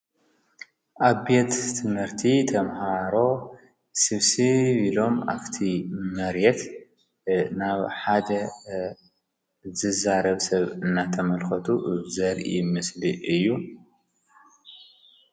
ኣብት ትምህርቲ ተምሃሮ ስብሴ ቢሎም ኣፍቲ መርየት ናብ ሓደ ዝዛረብ ሰብ እናተመልከቱ ዘር እ ምስሊ እዩ።